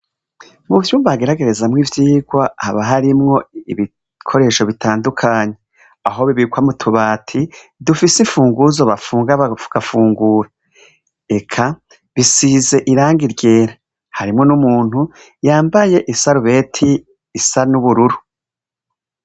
Mu vyumba hageragerezwamwo ivyigwa, haba harimwo ibikoresho bitandukanye. Aho bibikwa mu tubati, dufise imfunguzo bafunga bagafungura. Eka, bisize irangi ryera. Harimwo n'umuntu, yambaye isarubeti isa n'ubururu.